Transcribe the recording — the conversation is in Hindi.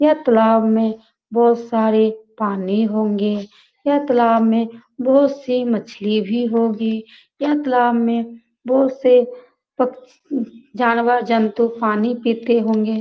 यह तालाब में बहोत सारे पानी होंगे। यह तालाब में बहोत सी मछली भी होगी। यह तालाब में बहोत से पक उ जानवर-जंतु पानी पीते होंगे।